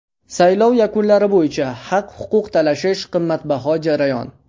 Saylov yakunlari bo‘yicha haq-huquq talashish qimmatbaho jarayon.